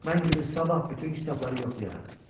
Mən günün sabah bütün kitabları yoxlayaram.